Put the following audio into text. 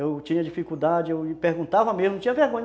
Eu tinha dificuldade, eu perguntava mesmo, não tinha vergonha.